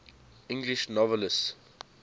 english novelists